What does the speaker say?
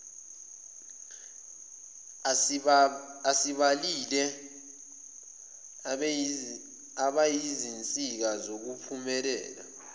esibabalile bayizinsika zokuphumelela